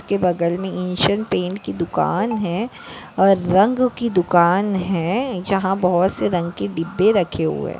के बगल मे एशिअन पेंट की दुकान है और रंग की दुकान है यहा बहुत सी रंग की डिब्बे रखे हुए --